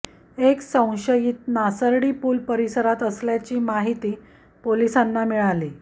एक संशयित संशयीत नासर्डी पुल परिसरात असल्याचे माहिती पोलिसांना मिळाली